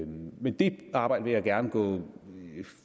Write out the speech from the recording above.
men det arbejde vil jeg gerne gå